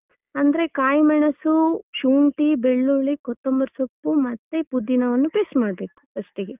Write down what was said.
ಅಂದ್ರೆ ಕಾಯಿ ಮೆಣಸು, ಶುಂಠಿ, ಬೆಳ್ಳುಳ್ಳಿ, ಕೊತ್ತಂಬರಿ ಸೊಪ್ಪು, ಮತ್ತೆ ಪುದಿನವನ್ನು paste ಮಾಡ್ಬೇಕು first ಗೆ.